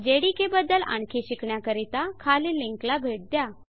JDK बदद्ल आणखी शिकण्याकरिता खालील लिंक ला भेट द्या